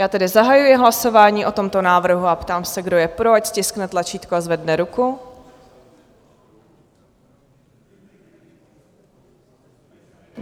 Já tedy zahajuji hlasování o tomto návrhu a ptám se, kdo je pro, ať stiskne tlačítko a zvedne ruku.